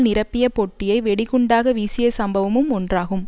நிரப்பிய பொட்டியை வெடிகுண்டாக வீசிய சம்பவமும் ஒன்றாகும்